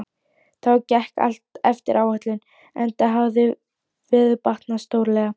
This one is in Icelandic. Þá gekk allt eftir áætlun enda hafði veður batnað stórlega.